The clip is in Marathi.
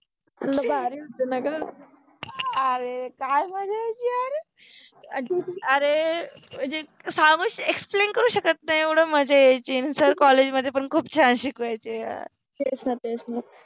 भारि होत नाहि का, अरे काय भारि होत यार, अरे जे सामोरच एक्सप्लेन करु शकत नाहि एवढ मजा यायचि, सर कॉलेज मधे पन खुप छान शिकवायचे तेच न तेच न